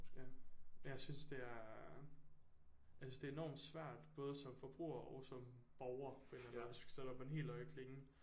Ja jeg synes det er jeg synes det er enormt svært både som forbruger og som borger på en eller anden måde hvis vi skal op på den helt høje klinge